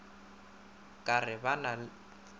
o ka re ba na